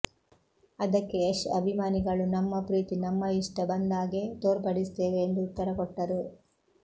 ಅದಕ್ಕೆ ಯಶ್ ಅಭಿಮಾನಿಗಳು ನಮ್ಮ ಪ್ರೀತಿ ನಮ್ಮ ಇಷ್ಟ ಬಂದಾಗೆ ತೋರ್ಪಡಿಸುತ್ತೇವೆ ಎಂದು ಉತ್ತರ ಕೊಟ್ಟುರು